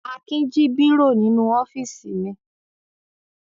Akin jí bírò nínú ọ́fíísì mi.